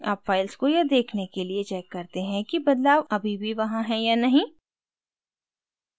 अब files को यह देखने के लिए check करते हैं कि बदलाव अभी भी वहाँ हैं या नहीं